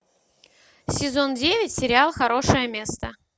сезон девять сериал хорошее место